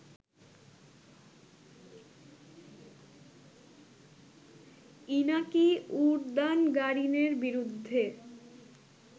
Inaki উরদানগারিনের বিরুদ্ধে